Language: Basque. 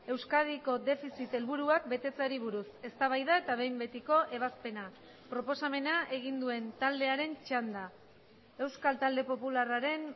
euskadiko defizit helburuak betetzeari buruz eztabaida eta behin betiko ebazpena proposamena egin duen taldearen txanda euskal talde popularraren